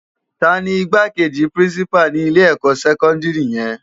Táni Igbákéji pirinsipá ni ilé èkò sèkòndiri yèn?